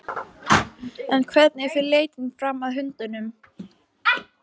En hvernig fer leitin fram að hundunum?